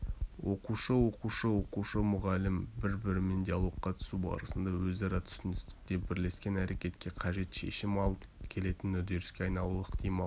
оқушы-оқушы оқушы-мұғалім бір-бірімен диалогқа түсу барысында өзара түсіністікке бірлескен әрекетке қажет шешім алып келетін үдеріске айналуына ықтимал